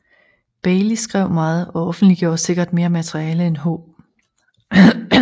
Bailey skrev meget og offentliggjorde sikkert mere materiale end H